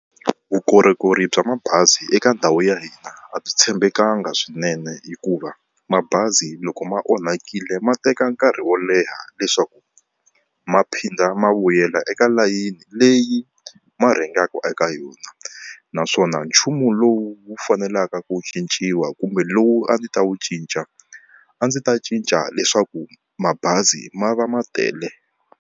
Vukorhokeri bya mabazi eka ndhawu ya hina a byi tshembekanga swinene hikuva mabazi loko ma onhakile ma teka nkarhi wo leha leswaku ma phinda ma vuyela eka layeni leyi ma rhengaka eka yona. Naswona nchumu lowu wu faneleke ku cinciwa kumbe lowu a ndzi ta wu cinca a ndzi ta cinca leswaku mabazi ma va ma tele.